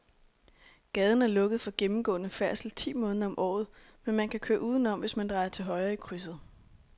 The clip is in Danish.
Gaden er lukket for gennemgående færdsel ti måneder om året, men man kan køre udenom, hvis man drejer til højre i krydset.